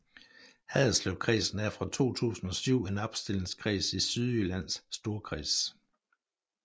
Haderslevkredsen er fra 2007 en opstillingskreds i Sydjyllands Storkreds